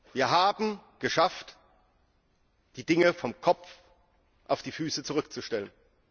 Wir haben es geschafft, die Dinge vom Kopf auf die Füße zurückzustellen.